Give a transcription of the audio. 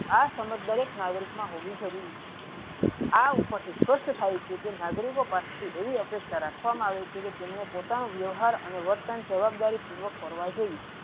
આ સમજ દરેક નાગરિક મા હોવા જરૂરી છે આ ઉપર થી સ્પષ્ટ થાય છે કે નાગરીકો પાસે થી એવી અપેક્ષા રાખવા મા આવે છે કે તેમનું પોતાનું વ્યવહાર અને વર્તન જવાબદારી પૂર્વક કરવા જોયીયે.